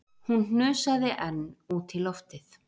Hún hnusaði enn út í loftið